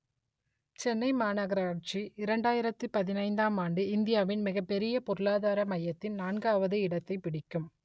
சென்னை மாநகராட்சி இரண்டாயிரத்து பதினைந்தாம் ஆண்டு இந்தியாவின் மிகப்பெரிய பொருளாதார மையத்தின் நான்காவது இடத்தைப் பிடிக்கும்